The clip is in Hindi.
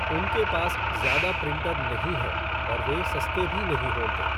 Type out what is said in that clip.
उनके पास ज़्यादा प्रिंटर नहीं है और वे सस्ते भी नहीं होते।